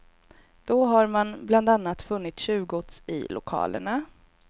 Då har man bland annat funnit tjuvgods i lokalerna.